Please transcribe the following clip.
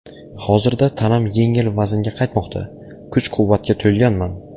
Hozirda tanam yengil vaznga qaytmoqda, kuch-quvvatga to‘lganman.